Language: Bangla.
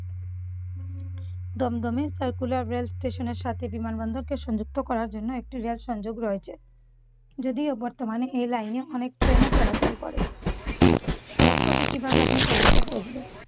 দমদমে সাইকুলা রেলস্টেশনের সাথে বিমানবন্দরকে সংযুক্ত করার জন্য একটি রেল সংযোগ রয়েছে। যদিও বর্তমানে এ লাইনে অনেক ট্রেনও চলাচল করে। সড়ক পথে আপনি কিভাবে কলকাতা পৌঁছবেন?